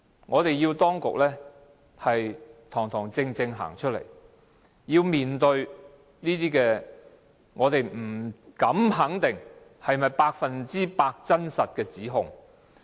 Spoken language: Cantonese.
我們要求當局堂堂正正站出來，面對這些我們不敢肯定是否 100% 真實的指控。